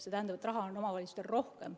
See tähendab, et raha on omavalitsustel rohkem ...